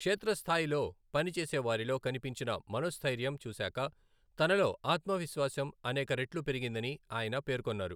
క్షేత్రస్థాయిలో పనిచేసే వారిలో కనిపించిన మనోస్ఠైర్యం చూశాక తనలో ఆత్మవిశ్వాసం అనేక రెట్లు పెరిగిందని ఆయన పేర్కొన్నారు.